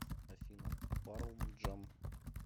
афина парл джам